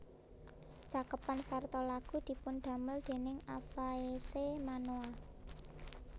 Cakepan sarta lagu dipundamel déning Afaese Manoa